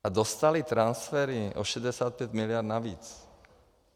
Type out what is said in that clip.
A dostaly transfery o 65 miliard navíc.